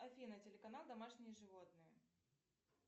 афина телеканал домашние животные